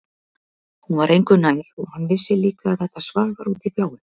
Hún var engu nær og hann vissi líka að þetta svar var út í bláinn.